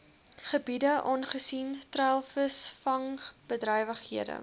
gebiede aangesien treilvisvangbedrywighede